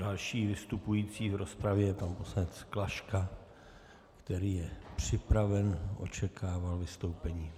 Další vystupující v rozpravě je pan poslanec Klaška, který je připraven, očekával vystoupení.